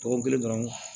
Dɔgɔkun kelen dɔrɔn